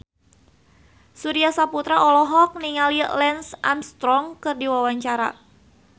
Surya Saputra olohok ningali Lance Armstrong keur diwawancara